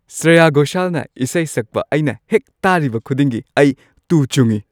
ꯁ꯭ꯔꯦꯌꯥ ꯘꯣꯁꯥꯜꯅ ꯏꯁꯩ ꯁꯛꯄ ꯑꯩꯅ ꯍꯦꯛ ꯇꯥꯔꯤꯕ ꯈꯨꯗꯤꯡꯒꯤ, ꯑꯩ ꯇꯨ ꯆꯨꯡꯏ꯫